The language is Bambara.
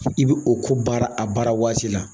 i bi o ko baara a baarawaati la.